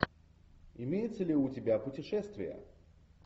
имеется ли у тебя путешествия